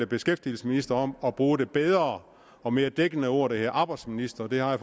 beskæftigelsesminister om at bruge det bedre og mere dækkende ord der hedder arbejdsminister det har jeg